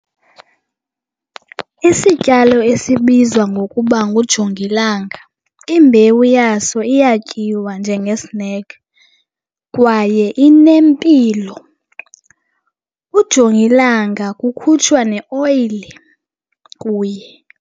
Isityalo esibizwa ngokuba ngujongilanga imbewu yaso iyatyiwa njengesinekhi kwaye inempilo. Ujongilanga kukhutshwa neoyile kuye.